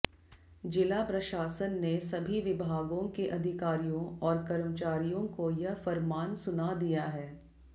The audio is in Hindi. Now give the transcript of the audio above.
जिला प्रशासन ने सभी विभागों के अधिकारियों और कर्मचारियों को यह फरमान सुना दिया है